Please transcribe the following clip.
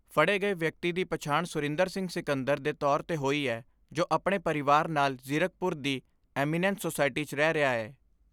ਫੜੇ ਗਏ ਵਿਅਕਤੀ ਦੀ ਪਛਾਣ ਸੁਰਿੰਦਰ ਸਿੰਘ ਸਿੰਕਦਰ ਦੇ ਤੌਰ 'ਤੇ ਹੋਈ ਐ ਜੋ ਆਪਣੇ ਪਰਿਵਾਰ ਨਾਲ ਜ਼ੀਰਕਪੁਰ ਦੀ ਐਮੀਨੈਂਸ ਸੋਸਾਇਟੀ 'ਚ ਰਹਿ ਰਿਹਾ ਐ।